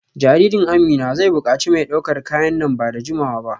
Jaririn Amina zai bukaci mai daukar kaya nan ba da jimawa ba